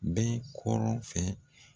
Bɛ kɔrɔn fɛ